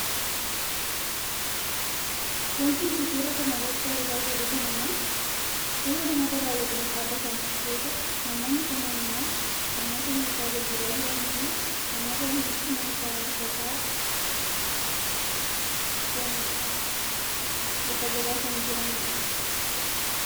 wanti nuti suuraa kana irratti argaa jirru kun ammoo suuraa namoota baayyatanii dhaabbatan yoo ta'u , namoonni kunneeen ammoo namoota meeshaa gurguraa jiraniifi namoota meeshaa bitachaa jiranidha. lafa gabaa kan jiranidha